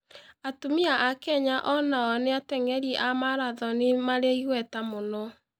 Atumia a Kenya o nao nĩ ateng'eri a maratoni marĩ igweta mũno.